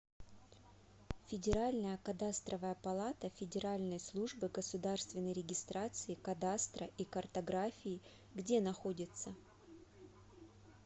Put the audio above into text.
федеральная кадастровая палата федеральной службы государственной регистрации кадастра и картографии где находится